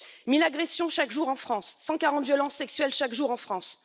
Mille agressions chaque jour en France, 140 violences sexuelles chaque jour en France.